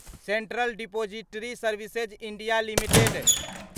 central depository services India limited